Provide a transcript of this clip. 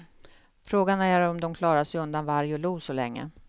Frågan är om de klarar sig undan varg och lo så länge.